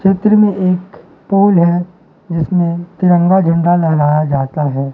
चित्र में एक पुल है जिसमें तिरंगा झंडा लहराया जाता है।